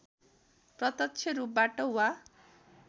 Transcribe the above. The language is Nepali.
प्रत्‍यक्ष रूपबाट वा